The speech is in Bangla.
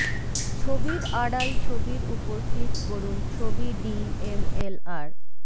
ছবির আড়াল ছবির উপর ক্লিক করুন ছবি ডি এমএলআর